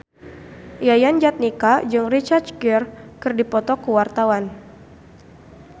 Yayan Jatnika jeung Richard Gere keur dipoto ku wartawan